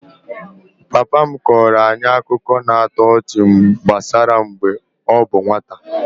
Papa m kọọrọ anyị akụkọ na-atọ ọchị gbasara mgbe ọ bụ nwata